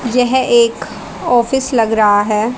यह एक ऑफिस लग रहा है।